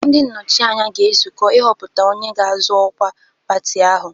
Ndị nnọchi anya ga-ezukọ ịhọpụta onye ga-azọ ọkwa pati ahụ.